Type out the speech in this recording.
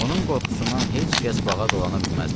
Onun qorxusundan heç kəs bağa dolana bilməzdi.